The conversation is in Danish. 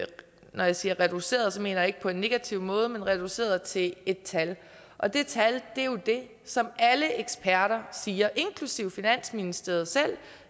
når jeg siger reduceret mener ikke på en negativ måde men reduceret til et tal og det tal er jo det som alle eksperter siger inklusive finansministeriet selv